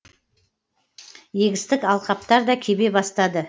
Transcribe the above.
егістік алқаптар да кебе бастады